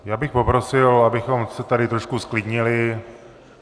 Já bych poprosil, abychom se tady trošku zklidnili.